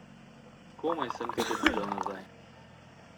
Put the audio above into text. Komaj sem te dobila nazaj.